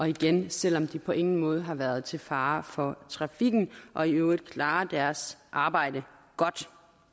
igen selv om de på ingen måde har været til fare for trafikken og i øvrigt klarer deres arbejde godt